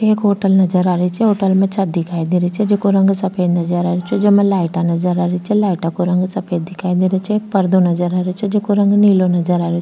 एक होटल नजर आ रेहो छे होटल में छत दिखाई दे री छे जेको रंग सफ़ेद नजर आ रेहो छे जेमे लाइटा नजर आ री छे लाइटा को रंग सफ़ेद दिखाई दे रो छे एक पर्दो नजर आ रहो छे जेको रंग नीलो नज़र आ रेहो -